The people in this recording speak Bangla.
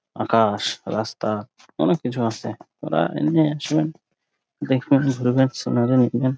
আকাশ রাস্তা অনেক কিছু আসছে ওরা এমনি একসময় দেখবেন ঘুরবেন |